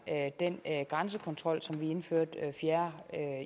den grænsekontrol som vi indførte den fjerde